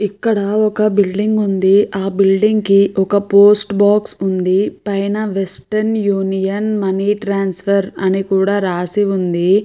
ఇక్కడ ఒక బిల్డింగ్ ఉంది ఆ బిల్డింగ్ కి ఒక పోస్ట్ బాక్స్ ఉంది పైన వెస్టన్ యూనియన్ మనీ ట్రాన్స్ఫర్ అని కూడా రాసి ఉంది.